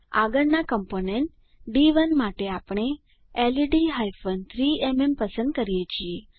આગળનાં કમ્પોનન્ટ ડી1 માટે આપણે લેડ હાયફન 3એમએમ પસંદ કરીએ છીએ